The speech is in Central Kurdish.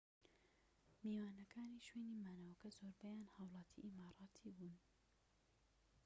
میوانەکانی شوێنی مانەوەکە زۆربەیان هاووڵاتی ئیماراتی بوون‎